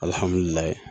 Alihamudulila